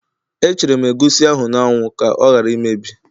E chere m egusi ahụ n'anwu ka ọ ghara imebi